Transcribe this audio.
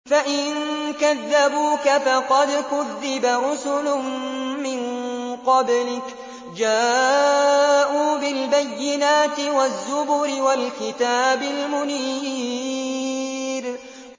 فَإِن كَذَّبُوكَ فَقَدْ كُذِّبَ رُسُلٌ مِّن قَبْلِكَ جَاءُوا بِالْبَيِّنَاتِ وَالزُّبُرِ وَالْكِتَابِ الْمُنِيرِ